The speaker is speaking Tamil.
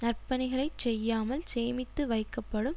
நற்பணிகளை செய்யாமல் சேமித்து வைக்கப்படும்